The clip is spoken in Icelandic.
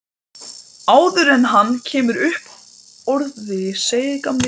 Áður en hann kemur upp orði segir gamli gröfustjórinn